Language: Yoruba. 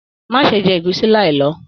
Má ṣe jẹ ẹ̀gúsí láì lọ!